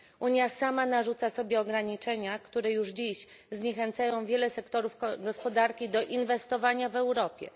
Unia sama narzuca sobie ograniczenia, które już dziś zniechęcają wiele sektorów gospodarki do inwestowania w Europie.